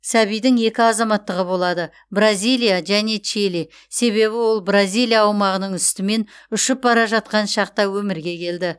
сәбидің екі азаматтығы болады бразилия және чили себебі ол бразилия аумағының үстімен ұшып бара жатқан шақта өмірге келді